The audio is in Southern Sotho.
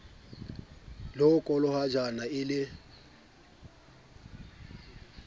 le ho kolokotjhana e le